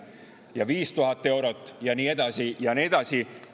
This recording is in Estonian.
Ja 5000 eurot ja nii edasi ja nii edasi.